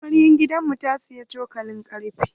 Amaryar gidan mu ta siyi cokalin ƙarfe.